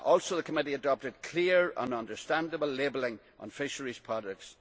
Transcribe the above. The committee also adopted clear and understandable labelling on fisheries products.